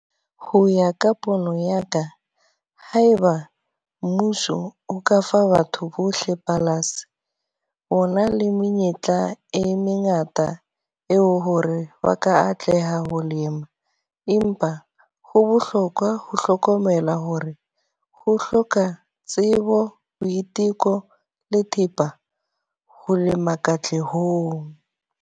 Ho ya ka pono ya ka, haeba mmuso o ka fa batho bohle palasi. O na le menyetla e mengata eo hore ba ka atleha e ho lema. Empa ho bohlokwa ho hlokomela hore ho hloka tsebo, boiteko le thepa ho lema katlehong.